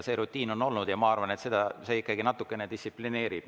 See rutiin on olnud ja ma arvan, et see ikkagi natukene distsiplineerib.